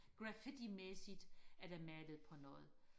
graffiti mæssigt er der malet på noget